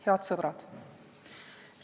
Head sõbrad!